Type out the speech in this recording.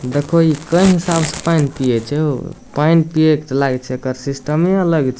देखो इ केय हिसाब से पैन पिए छै हो पैन पिए के ते लागे छै एकड़ सिस्टमे अलग छै ।